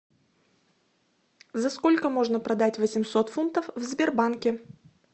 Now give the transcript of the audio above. за сколько можно продать восемьсот фунтов в сбербанке